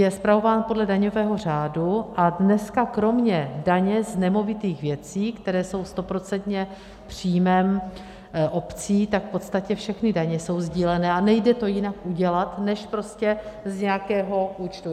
Je spravován podle daňového řádu a dnes kromě daně z nemovitých věcí, které jsou stoprocentně příjmem obcí, tak v podstatě všechny daně jsou sdílené a nejde to jinak udělat než prostě z nějakého účtu.